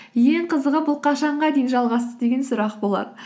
ең қызығы бұл қашанға дейін жалғасты деген сұрақ болар